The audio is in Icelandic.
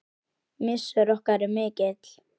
Missir okkar er mikill.